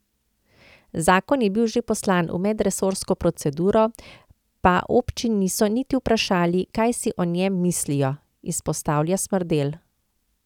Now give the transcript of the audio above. Zakon je bil že poslan v medresorsko proceduro, pa občin niso niti vprašali, kaj si o njem mislijo, izpostavlja Smrdelj.